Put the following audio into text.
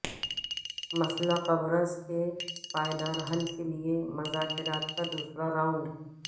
مسئلہ قبرص کے پائدار حل کے لیے مذاکرات کا دوسرا راونڈ